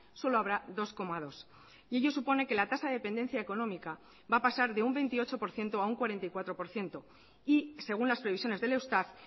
solo habrá dos coma dos y ello supone que la tasa de dependencia económica va a pasar de un veintiocho por ciento a un cuarenta y cuatro por ciento y según las previsiones del eustat